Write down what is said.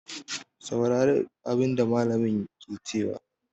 Saurari abin da mallamin ke cewa!